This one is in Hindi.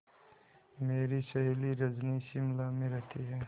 मेरी सहेली रजनी शिमला में रहती है